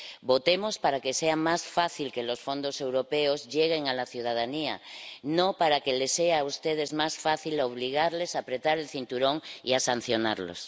Votemos para que sea más fácil que los fondos europeos lleguen a la ciudadanía, no para que les sea a ustedes más fácil obligarles a apretar el cinturón y a sancionarlos.